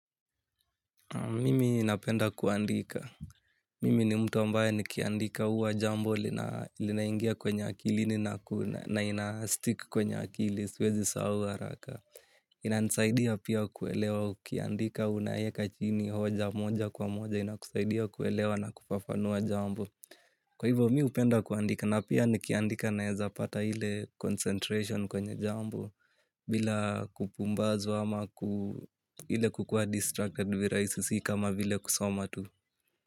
Mimi napenda kuandika. Mimi ni mtu ambaye nikiandika uwa jambo linaingia kwenye akilini na ina stick kwenye akiliswezi sahaua haraka. Inanisaidia pia kuelewa ukiandika unaeka chini hoja moja kwa moja inakusaidia kuelewa na kufafanua jambo. Kwa hivyo mihupenda kuandika napia nikiandika naweza pata ile concentration kwenye jambo bila kupumbazwa ama ku ile kukua distracted virahisi si kama vile kusoma tu.